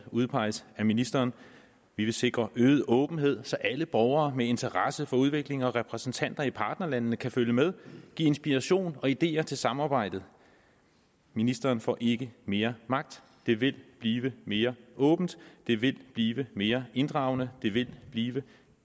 udpeges af ministeren vi vil sikre øget åbenhed så alle borgere med interesse for udvikling og repræsentanter i partnerlandene kan følge med og give inspiration og ideer til samarbejdet ministeren får ikke mere magt det vil blive mere åbent det vil blive mere inddragende og det vil blive